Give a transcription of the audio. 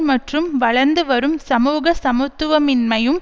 மற்றும் வளர்ந்து வரும் சமூக சமத்துவமின்மையும்